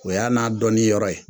o y'a n'a dɔni yɔrɔ ye